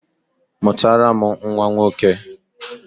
Mụtara m nnwa nwoke!